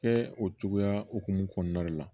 Kɛ o cogoya hokumu kɔnɔna de la